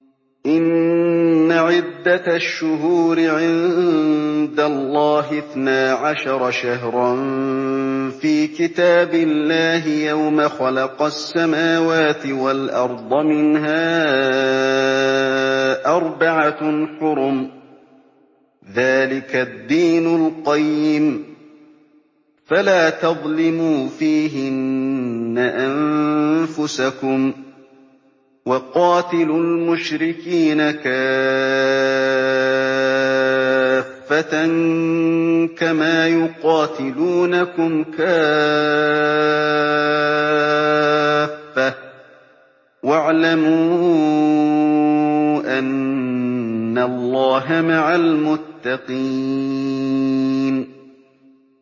إِنَّ عِدَّةَ الشُّهُورِ عِندَ اللَّهِ اثْنَا عَشَرَ شَهْرًا فِي كِتَابِ اللَّهِ يَوْمَ خَلَقَ السَّمَاوَاتِ وَالْأَرْضَ مِنْهَا أَرْبَعَةٌ حُرُمٌ ۚ ذَٰلِكَ الدِّينُ الْقَيِّمُ ۚ فَلَا تَظْلِمُوا فِيهِنَّ أَنفُسَكُمْ ۚ وَقَاتِلُوا الْمُشْرِكِينَ كَافَّةً كَمَا يُقَاتِلُونَكُمْ كَافَّةً ۚ وَاعْلَمُوا أَنَّ اللَّهَ مَعَ الْمُتَّقِينَ